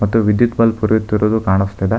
ಮತ್ತು ವಿದ್ಯುತ್ ಬಲ್ಬ್ ಉರಿಯುತ್ತಿರುದು ಕಾಣಸ್ತಿದೆ.